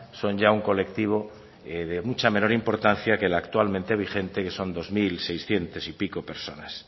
son ya un colectivo de mucha menor importancia que el actualmente vigente que son dos mil seiscientas y pico personas